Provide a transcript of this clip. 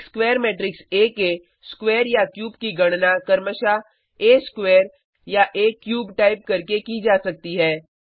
एक square matrix आ के स्क्वायर या क्यूब की गणना क्रमशः आ स्क्वायर या आ क्यूब टाइप करके की जा सकती है